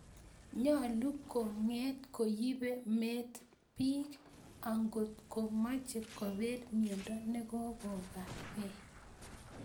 Nyolu kong�et ko yibe met biik ankot komaache kobeel myondo nekokokakee